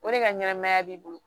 O de ka ɲɛnɛmaya b'i bolo